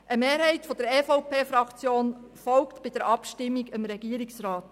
Eine Mehrheit der EVP-Fraktion folgt bei der Abstimmung dem Regierungsrat.